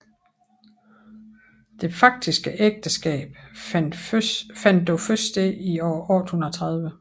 Det faktiske ægteskab fandt dog først sted i år 830